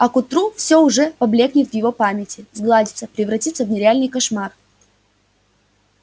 а к утру всё уже поблёкнет в его памяти сгладится превратится в нереальный кошмар